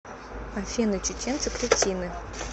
афина чеченцы кретины